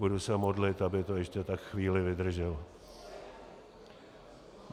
Budu se modlit, aby to ještě tak chvíli vydrželo.